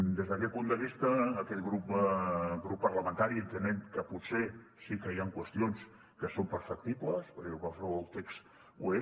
des d’aquest punt de vista aquest grup parlamentari entenem que potser sí que hi han qüestions que són perfectibles perquè qualsevol text ho és